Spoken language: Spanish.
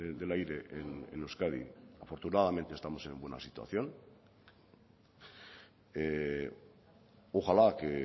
del aire en euskadi afortunadamente estamos en buena situación ojalá que